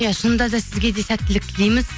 иә шынында да сізге де сәттілік тілейміз